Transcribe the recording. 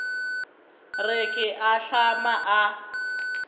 re ke a ahlama a